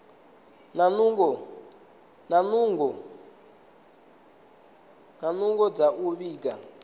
na nungo dza u vhiga